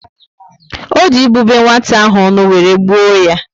O ji ibube nwata ahụ ọnụ wéré gbuo yá